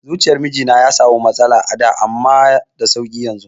Zuciyar mijina ya sami matsaloli a da amma da sauƙi yanzu